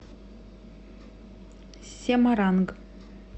семаранг